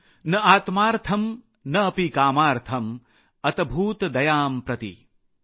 न आत्मार्थम् न अपि कामार्थम् अतभूत दयां प्रति ।।